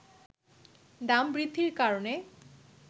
দাম বৃদ্ধির কারণে